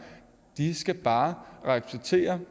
de skal bare repræsentere